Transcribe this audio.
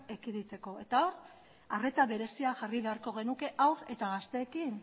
ekiditeko eta hor arreta berezia jarri beharko genuke haur eta gazteekin